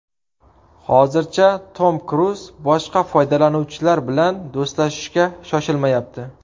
Hozircha Tom Kruz boshqa foydalanuvchilar bilan do‘stlashishga shoshilmayapti.